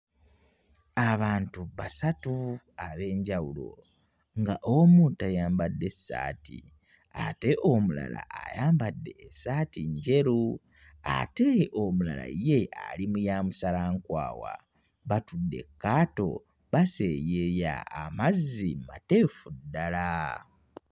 Abantu basatu ab'enjawulo nga omu tayambadde ssaati ate omulala ayambadde essaati njeru ate omulala ye ali mu ya musalankwawa batudde kkaato baseeyeeya amazzi mateefu ddala.